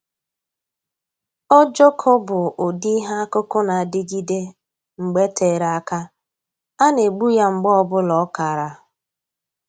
Ojoko bụ ụdị ihe akụkụ na-adịgide mgbe tere aka, a na-egbu ya mgbe ọbụla ọ kara